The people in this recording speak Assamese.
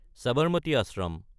চাবাৰমাটি আশ্ৰম